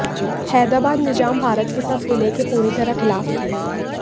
हैदराबाद निजाम भारत के साथ विलय के पूरी तरह खिलाफ थे